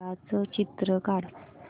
घराचं चित्र काढ